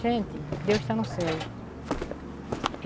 Gente, Deus está no céu.